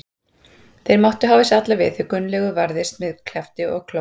Þeir máttu hafa sig alla við því Gunnlaugur varðist með kjafti og klóm.